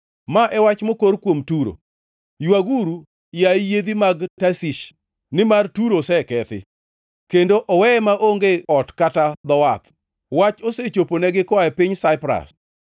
Ma e wach mokor kuom Turo: Ywaguru, yaye yiedhi mag Tarshish! Nimar Turo osekethi, kendo oweye maonge ot kata dho wath! Wach osechoponegi koa e piny Saipras.